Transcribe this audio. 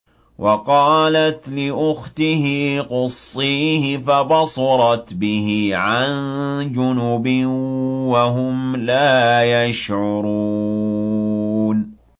وَقَالَتْ لِأُخْتِهِ قُصِّيهِ ۖ فَبَصُرَتْ بِهِ عَن جُنُبٍ وَهُمْ لَا يَشْعُرُونَ